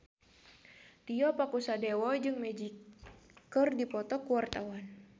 Tio Pakusadewo jeung Magic keur dipoto ku wartawan